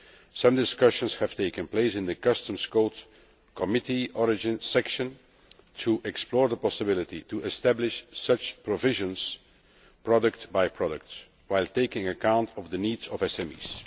Some discussions have taken place in the Customs Code Committee Origin Section to explore the possibility of establishing such provisions product by product, while taking account of the needs of SMEs.